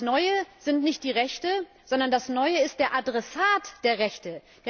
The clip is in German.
Das Neue sind nicht die Rechte, sondern das Neue ist der Adressat der Rechte.